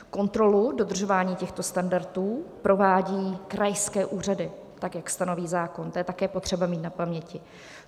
Kontrolu dodržování těchto standardů provádí krajské úřady, tak jak stanoví zákon - to je také potřeba mít na paměti.